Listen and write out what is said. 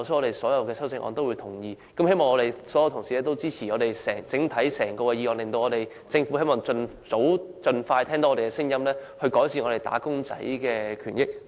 因此，我們會贊成各項修正案，希望所有同事均會支持整項議案，讓政府盡快聽到我們的聲音，改善"打工仔"的權益。